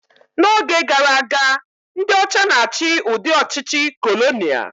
N'oge gara aga, ndị ọcha na-achị udị ọchịchị kolonia